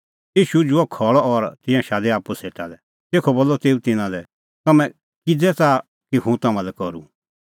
ईशू उझ़ुअ खल़अ और तिंयां शादै आप्पू सेटा लै तेखअ बोलअ तेऊ तिन्नां लै तम्हैं इहअ किज़ै च़ाहा कि हुंह तम्हां लै करूं